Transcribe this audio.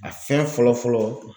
A fɛn fɔlɔ fɔlɔ